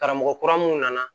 Karamɔgɔ kura minnu nana